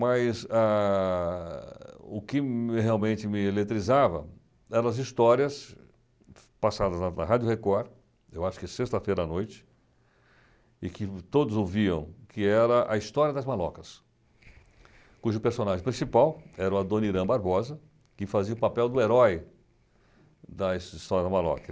Mas ah o que realmente me eletrizava eram as histórias passadas na Rádio Record, eu acho que sexta-feira à noite, e que todos ouviam, que era a história das malocas, cujo personagem principal era a Dona Irã Barbosa, que fazia o papel do herói da história das malocas.